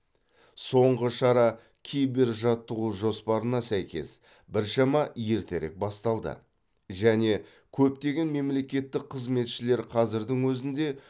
соңғы шара кибержаттығу жоспарына сәйкес біршама ертерек басталды және көптеген мемлекеттік қызметшілер қазірдің өзінде